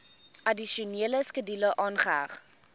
addisionele skedule aangeheg